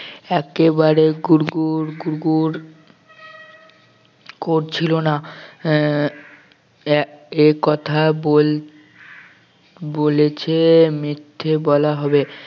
একেবারে গুড়গুড় করছিল না আহ এ~ এ কথা বল বলেছে মিথ্যে বলা হবে